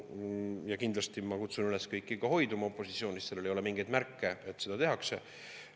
Ja kindlasti ma kutsun üles ka kõiki opositsioonis hoiduma sellest, seal ei ole mingeid märke, et seda tehakse.